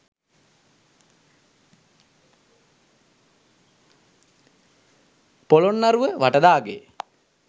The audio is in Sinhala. පොළොන්නරුව වටදාගේ,